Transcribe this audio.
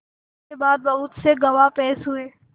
इसके बाद बहुत से गवाह पेश हुए